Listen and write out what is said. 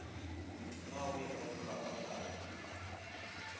na o e patelela gakae